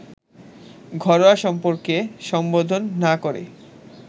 ঘরোয়া সম্পর্কে সম্বোধন না-করে